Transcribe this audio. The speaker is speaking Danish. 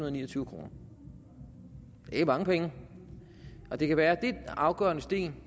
og niogtyve kroner det er mange penge og det kan være den afgørende sten